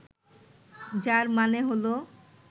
যার মানে হল